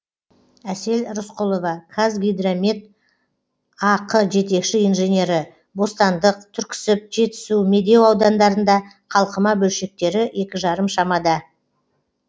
әсел рысқұлова қазгидромет ақ жетекші инженері бостандық түрксіб жетісу медеу аудандарында қалқыма бөлшектері екі жарым шамада